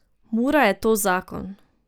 Mura je to zakon.